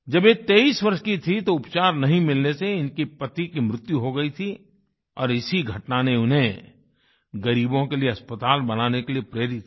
जब ये 23 वर्ष की थीं तो उपचार नहीं मिलने से इनके पति की मृत्यु हो गई थी और इसी घटना ने उन्हें गरीबों के लिए अस्पताल बनाने के लिए प्रेरित किया